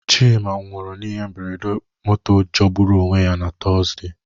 Chima nwụrụ n'ihe mberede moto jọgburu onwe ya na Tuzdee.